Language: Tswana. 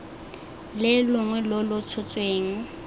le longwe lo lo tshotsweng